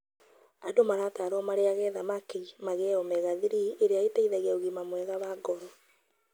Andu maratarwo marĩage thamaki magĩe omega-3 ĩria iteithaia ũgima mwega wa ngoro.